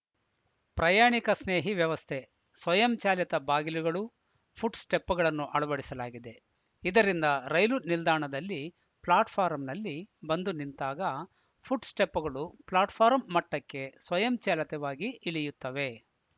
ಪ್ರಯಾಣಿಕಸ್ನೇಹಿ ವ್ಯವಸ್ಥೆ ಸ್ವಯಂಚಾಲಿತ ಬಾಗಿಲುಗಳು ಫು ಟ್‌ಸ್ಟೆಪ್‌ಗಳನ್ನು ಅಳವಡಿಸಲಾಗಿದೆ ಇದರಿಂದ ರೈಲು ನಿಲ್ದಾಣದಲ್ಲಿ ಫ್ಲಾಟ್‌ಫಾರಂನಲ್ಲಿ ಬಂದು ನಿಂತಾಗ ಫುಟ್‌ಸ್ಟೆಪ್‌ಗಳು ಫ್ಲಾಟ್‌ಫಾರಂ ಮಟ್ಟಕ್ಕೆ ಸ್ವಯಂಚಾಲಿತವಾಗಿ ಇಳಿಯುತ್ತವೆ